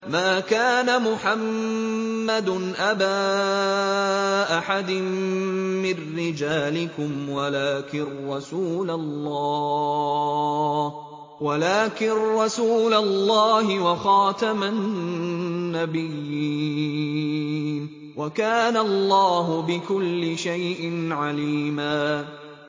مَّا كَانَ مُحَمَّدٌ أَبَا أَحَدٍ مِّن رِّجَالِكُمْ وَلَٰكِن رَّسُولَ اللَّهِ وَخَاتَمَ النَّبِيِّينَ ۗ وَكَانَ اللَّهُ بِكُلِّ شَيْءٍ عَلِيمًا